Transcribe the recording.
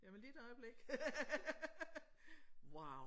Jamen lige et øjeblik wow!